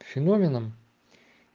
феноменом